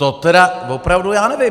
To tedy opravdu já nevím!